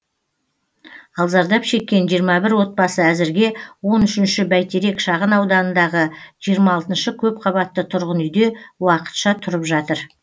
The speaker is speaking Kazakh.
ал зардап шеккен жиырма бір отбасы әзірге он үшінші бәйтерек шағын ауданындағы жиырма алтыншы көпқабатты тұрғын үйде уақытша тұрып жатыр